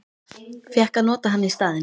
Fékk að nota hann í staðinn.